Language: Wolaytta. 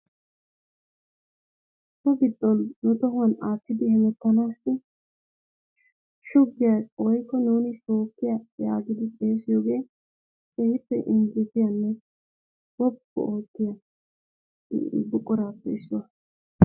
So giddon nu tohuwan aatidi hemmettanaass shugiya woykko nuuni sookkiya yaagidi xeesiyogee keehippe injjettiyanne woppu ootiya buquraappe issuwa.